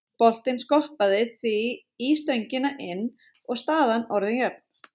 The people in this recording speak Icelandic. Boltinn skoppaði því í stöngina inn og staðan orðin jöfn.